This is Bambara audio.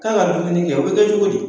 K'a ka dumuni kɛ, o bɛ kɛ cogodi?